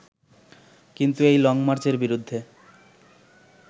কিন্তু এই লংমার্চের বিরুদ্ধে